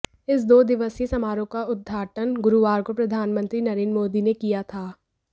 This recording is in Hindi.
इस दो दिवसीय समारोह का उद्घाटन गुरुवार को प्रधानमंत्री नरेंद्र मोदी ने किया था